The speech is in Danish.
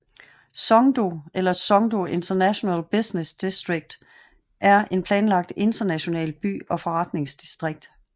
Songdo eller Songdo International Business District er en planlagt international by og forretningsdistrikt